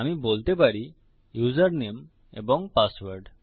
আমি বলতে পারি ইউসারনেম এবং পাসওয়ার্ড